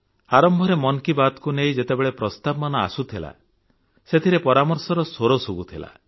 ଆରମ୍ଭରେ ମନ୍ କି ବାତକୁ ନେଇ ଯେତେବେଳେ ପ୍ରସ୍ତାବମାନ ଆସୁଥିଲା ସେଥିରେ ପରାମର୍ଶର ସ୍ୱର ଶୁଭୁଥିଲା